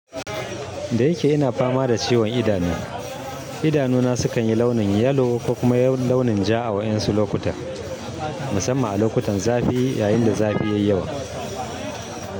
Da yake ina fama da ciwon idanu, idanu na su kanyi launin yellow ko kuma launin ja a wadansu lokutan. Musamman a lokutan zafi yayin da zafi yayi yawa.